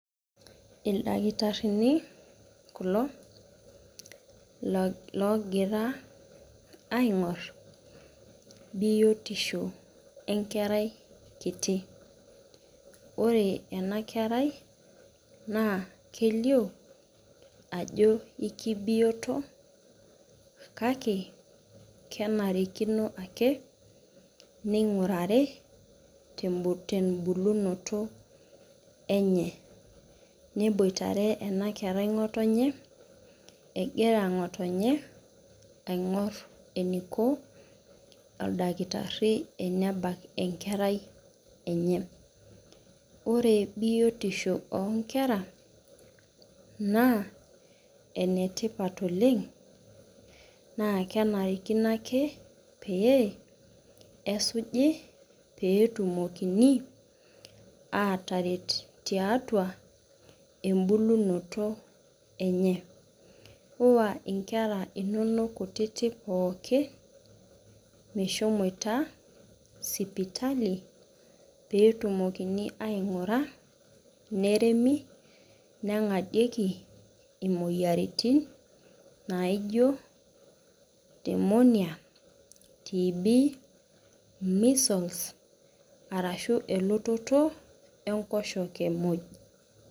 Ildakitarini kulo oogira aingoru biotisho enkerai kinyi. ore ena kerai. kelioo ajo ekibioto kake, kenarikino ake ningurari tebulunoto enye. neiboitare ena kerai ngotonye egira ng'otonye aing'or eneiko oldakitari enebak enkerai enye. ore biotisho oonkera naa enetipat oleng. naa kenarikino ake pee esujo pee etumokini aataret tiatua ebulunoto enye. iwa nkera inonok kutitik pooki meshomoito sipitali pee etumokini aingura .neremi nengadieki imoyiaritin naijo pneumonia, tb measles arashu elototo enkoshoke muj.